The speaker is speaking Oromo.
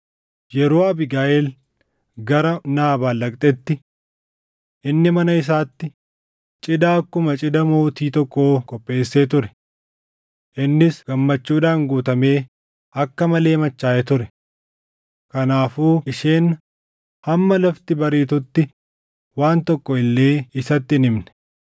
Yeroo Abiigayiil gara Naabaal dhaqxetti, inni mana isaatti cidha akkuma cidha mootii tokkoo qopheessee ture. Innis gammachuudhaan guutamee akka malee machaaʼee ture. Kanaafuu isheen hamma lafti bariitutti waan tokko illee isatti hin himne.